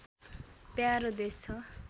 प्यारो देश छ